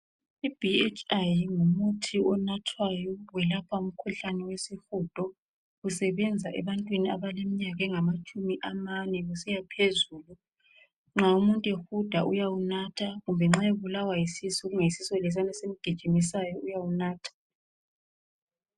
i BHI ngumuthi onathwayo welapha umkhuhlane wesihudo usebenza ebantwini abalemminyaka engamatshumi amane kusiyaphezulu nxa umuntu ehuda uyawunatha kumbe nxa ebulawa yisisu kuyisisu lesiyana esimgijimisayo uyawunatha